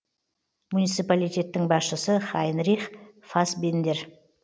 муниципалитеттің басшысы хайнрих фасбендер